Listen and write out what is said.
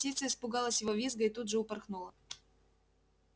птица испугалась его визга и тут же упорхнула